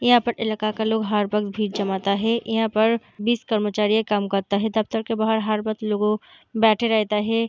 यहाँ पर इलाका का लोग हर वक़्त भीड़ जमाता है | यहाँ पर बीस कर्मचारी काम करता है | दफ्तर के बाहर हर वक्त लोगो बैठा रहता है |